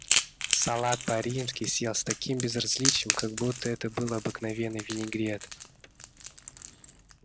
салат по-римски съел с таким безразличием как будто это был обыкновенный винегрет